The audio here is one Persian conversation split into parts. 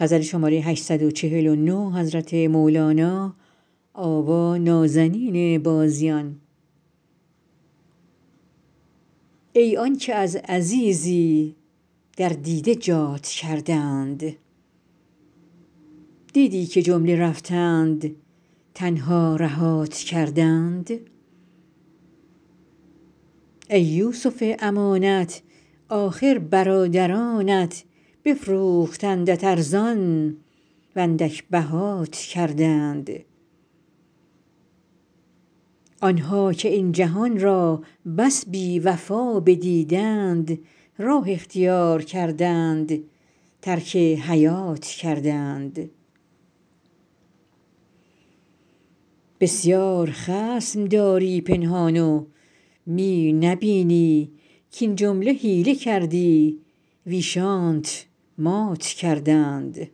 ای آن که از عزیزی در دیده جات کردند دیدی که جمله رفتند تنها رهات کردند ای یوسف امانت آخر برادرانت بفروختندت ارزان و اندک بهات کردند آن ها که این جهان را بس بی وفا بدیدند راه اختیار کردند ترک حیات کردند بسیار خصم داری پنهان و می نبینی کاین جمله حیله کردی ویشانت مات کردند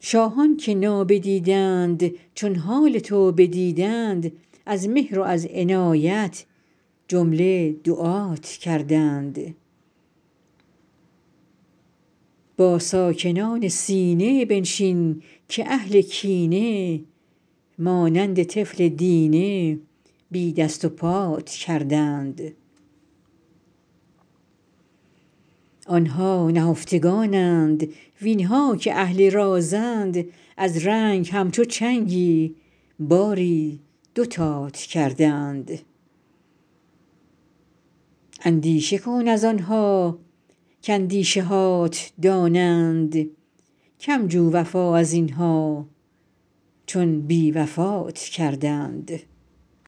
شاهان که نابدیدند چون حال تو بدیدند از مهر و از عنایت جمله دعات کردند با ساکنان سینه بنشین که اهل کینه مانند طفل دینه بی دست و پات کردند آن ها نهفتگانند وین ها که اهل رازند از رنگ همچو چنگی باری دوتات کردند اندیشه کن از آن ها کاندیشه هات دانند کم جو وفا از این ها چون بی وفات کردند